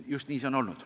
Just nii on see olnud.